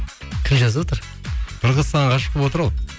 кім жазып отыр бір қыз саған ғашық болып отыр ау